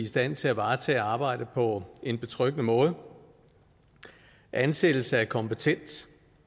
stand til at varetage arbejdet på en betryggende måde ansættelse af kompetent